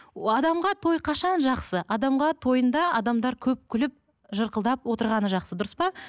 адамға той қашан жақсы адамға тойында адамдар көп күліп жырқылдап отырғаны жақсы дұрыс па